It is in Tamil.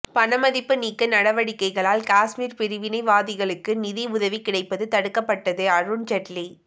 பணமதிப்பு நீக்க நடவடிக்கையால் காஷ்மீர் பிரிவினைவாதிகளுக்கு நிதி உதவி கிடைப்பது தடுக்கப்பட்டது அருண் ஜெட்லி